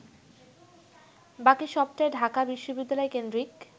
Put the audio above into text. বাকি সবটাই ঢাকা বিশ্ববিদ্যালয়কেন্দ্রিক